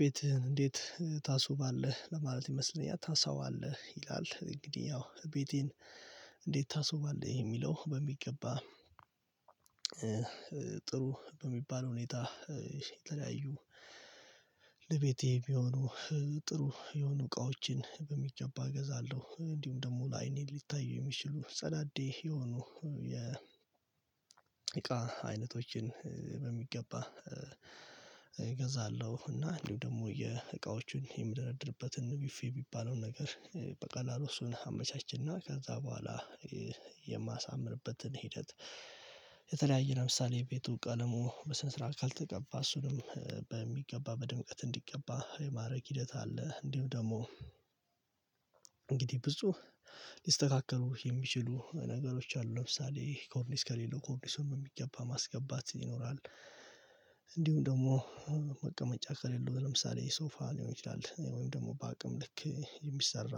ቤትህን እንዴት ታስውባለህ ለማለት ይመስለኛል ታሳዋለህ ይላል እንግዲህ ያው ቤቴን እንዴት ታስውባለህ የሚለው በሚገባ። ጥሩ በሚባል ሁኔታ። የተለያዩ ለቤቴ የሚሆኑ ጥሩ የሆኑ እቃዎችን በሚገባ እገዛለሁ። እንዲሁም ደግሞ ለአይኔ ሊታይ የሚችሉ ጸዳዴ የሆኑ የ እቃ አይነቶችን በሚገባ እገዛለሁ። እና እንዲሁ ደግሞ የእቃዎቹን የምደረደርበትን ቢፊ የሚባለውን ነገር በቀላሉ እሱን አመቻች እና ከዛ በኋላ የማሳምርበትን ሂደት። የተለያየ ለምሳሌ ቤቱ ቀለሙ በስነ ስርዓት ካልተቀባ እሱንም በሚገባ በድምቀት እንዲቀባ የማድረግ ሂደት አለ። እንዲሁም ደግሞ እንግዲህ ብዙ ሊስተካከሉ የሚችሉ ነገሮች አሉ ለምሳሌ ኮርኒስ ከሌለው ኮርኒሱን ነው በሚገባ ማስገባት ይኖራል። እንዲሁም ደግሞ መቀመጫ ከሌለው ለምሳሌ የሶፋ ሊሆን ይችላል ወይም ደግሞ በአቅም ልክ የሚሰራ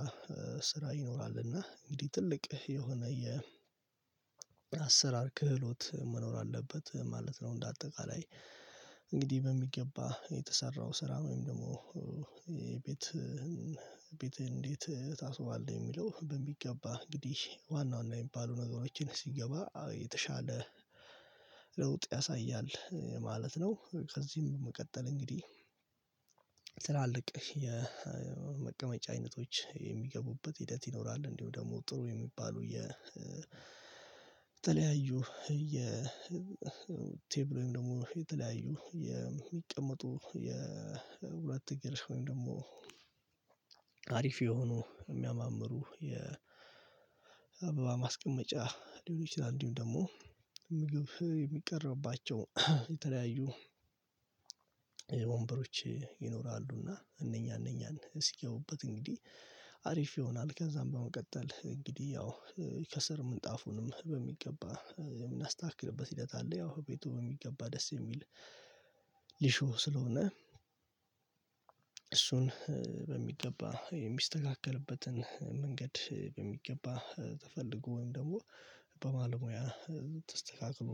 ስራ ይኖራል እና እንግዲህ ትልቅ የሆነ የ አሰራር ክህሎት መኖር አለበት ማለት ነው። እንደ አጠቃላይ። እንግዲህ በሚገባ የተሰራው ስራ ወይም ደግሞ የቤት ቤት እንዴት ታስውባለህ የሚለው በሚገባ እንግዲህ ዋና ዋና የሚባሉ ነገሮችን ሲገባ የተሻለ ለውጥ ያሳያል ማለት ነው። ከዚህም መቀጠል እንግዲህ የመቀመጫ አይነቶች የሚገቡበት ሂደት ይኖራል። እንዲሁ ደግሞ ጥሩ የሚባሉ የተለያዩ የቴብል ወይም ደግሞ የተለያዩ የሚቀመጡ የሁለት እግር ወይም ደግሞ አሪፍ የሆኑ የሚያማምሩ የ አበባ ማስቀመጫ ሊሆን ይችላል። እንዲሁም ደግሞ ምግብ የሚቀርብባቸው የተለያዩ ወንበሮች ይኖራሉ። እና እነኛ እነኛን እስኪያውበት እንግዲህ አሪፍ ይሆናል። ከዛም በመቀጠል እንግዲህ ያው የከሰር ምንጣፉንም በሚገባ የምናስተካክልበት ሂደት አለ። ያው ቤቱ በሚገባ ደስ የሚል ሊሾህ ስለሆነ እሱን በሚገባ የሚስተካከልበትን መንገድ በሚገባ ተፈልጎ ወይም ደግሞ በባለሙያ ተስተካክሎ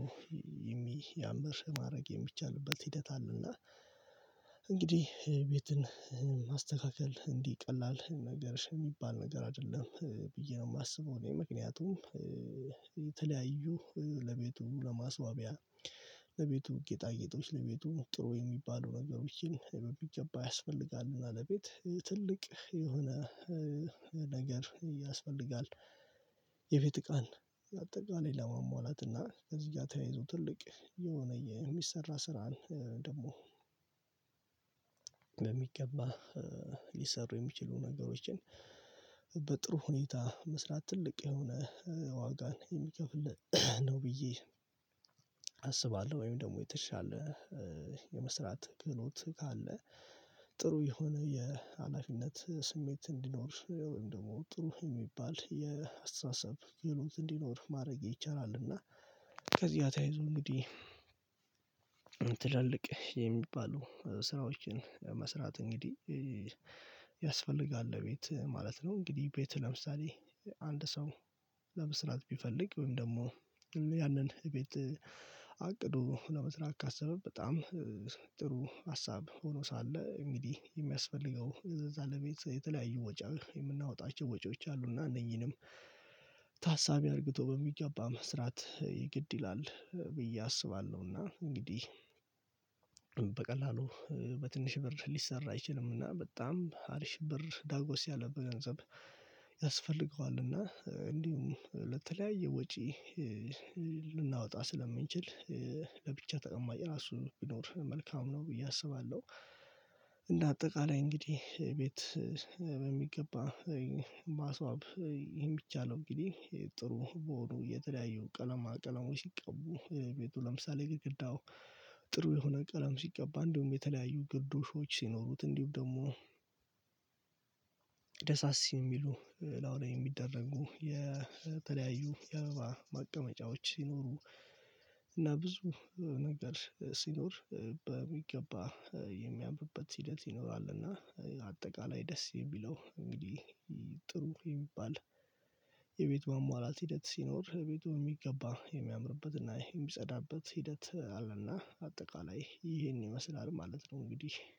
የሚያምር ማድረግ የሚቻልበት ሂደት አለ። እና እንግዲህ ቤትን ማስተካከል እንዲህ ቀላል ነገር የሚባል ነገር አይደለም ብዬ ነው የማስበው። እኔ ምክንያቱም የተለያዩ ለቤቱ ለማስዋቢያ ለቤቱ ጌጣጌጦች ለቤቱ ጥሩ የሚባሉ ነገሮችን በሚገባ ያስፈልጋል እና ለቤት ትልቅ የሆነ ነገር ያስፈልጋል። የቤት እቃን አጠቃላይ ለማሟላት እና ከዚህ ጋር ተያይዞ ትልቅ የሆነ የሚሰራ ስራን ደግሞ ሊሰሩ የሚችሉ ነገሮችን በጥሩ ሁኔታ መስራት ትልቅ የሆነ ዋጋን የሚከፍል ነው። ብዬ አስባለሁ። ወይም ደግሞ የተሻለ የመስራት ክህሎት ካለ ጥሩ የሆነ የኃላፊነት ስሜት እንዲኖር ወይም ደግሞ ጥሩ የሚባል የአስተሳሰብ ክህሎት እንዲኖር ማድረግ ይቻላል። እና ከዚያ ተያይዞ እንግዲህ ትላልቅ የሚባለው ስራዎችን መስራት እንግዲህ ያስፈልጋል ለቤት ማለት ነው። እንግዲህ ቤት ለምሳሌ አንድ ሰው ለመስራት ቢፈልግ ወይም ደግሞ ያንን ቤት አቅዶ ለመስራት ካሰበ በጣም ጥሩ ሀሳብ ሆኖ ሳለ እንግዲህ የሚያስፈልገው እዛ ለቤት የተለያዩ ወጪ የምናወጣቸው ወጪዎች አሉ እና እነኚህንም ታሳቢ አርግቶ በሚገባ መስራት የግድ ይላል ብዬ አስባለሁ። እና እንግዲህ በቀላሉ በትንሽ ብር ሊሰራ አይችልም። እና በጣም አሪሽ ብር ዳጎስ ያለ በ ገንዘብ ያስፈልገዋል እና እንዲሁም ለተለያየ ወጪ ልናወጣ ስለምንችል ለብቻ ተቀማጭ ራሱ ቢኖር መልካም ነው። ብዬ አስባለሁ። እንደ አጠቃላይ እንግዲህ ቤት በሚገባ ማስዋብ ይሄን ብቻ ነው። እንግዲህ ጥሩ በሆኑ የተለያዩ ቀለማ ቀለሞች ይቀቡ ቤቱ ለምሳሌ ግርግዳው ጥሩ የሆነ ቀለም ሲቀባ እንዲሁም የተለያዩ ግዶሾች ሲኖሩት እንዲሁም ደግሞ ደሳሲ የሚሉ እላዩ ላይ የሚደረጉ የተለያዩ የአበባ ማቀመጫዎች ሲኖሩ እና ብዙ ነገር ሲኖር በሚገባ የሚያምብበት ህደት ይኖራል። እና አጠቃላይ ደስ የሚለው እንግዲህ ጥሩ የሚባል የቤት ማሟላት ሂደት ሲኖር የቤቱ የሚገባ የሚያምርበት እና የሚጸዳበት ሂደት አለ። እና አጠቃላይ ይሄን ይመስላል ማለት ነው። እንግዲህ